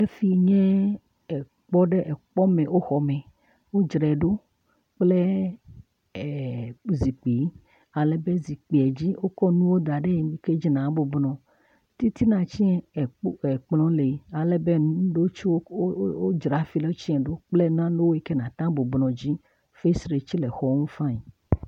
Efi nye ekpɔ ɖe ekpɔ me, exɔ me, wodzrae ɖo kple zikpuiwo, alebe zikpui dzi wokɔ nu da ɖe dzi na bɔbɔ nɔ dzi fain, titina tsɛ wodzreɖo fain